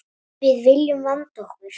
Við viljum vanda okkur.